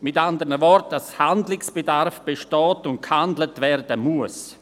mit anderen Worten, dass Handlungsbedarf besteht und gehandelt werden muss.